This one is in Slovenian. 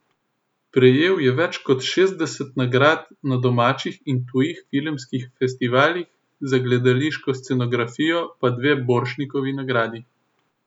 Prejel je več kot šestdeset nagrad na domačih in tujih filmskih festivalih, za gledališko scenografijo pa dve Borštnikovi nagradi.